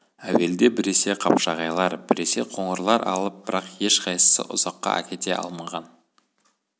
әуелде біресе қапшағайлар біресе қоңырлар алып бірақ ешқайсысы ұзаққа әкете алмаған